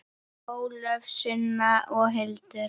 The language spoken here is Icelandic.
Ólöf, Sunna og Hildur.